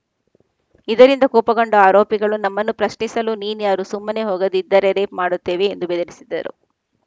ಇದರಿಂದ ಕೋಪಗೊಂಡ ಆರೋಪಿಗಳು ನಮ್ಮನ್ನು ಪ್ರಶ್ನಿಸಲು ನೀನ್ಯಾರು ಸುಮ್ಮನೆ ಹೋಗದಿದ್ದರೆ ರೇಪ್‌ ಮಾಡುತ್ತೇವೆ ಎಂದು ಬೆದರಿಸಿದ್ದರು